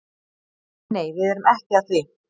Nei nei, við erum ekki að því.